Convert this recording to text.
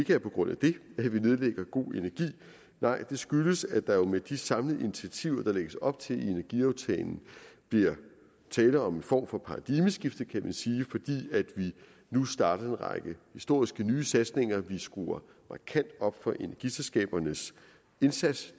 er på grund af det at vi nedlægger go energi nej det skyldes at der jo med de samlede initiativer der lægges op til i energiaftalen bliver tale om en form for paradigmeskifte kan man sige fordi vi nu starter en række historiske nye satsninger vi skruer markant op for energiselskabernes indsats